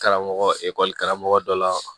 Karamɔgɔ ekɔli karamɔgɔ dɔ la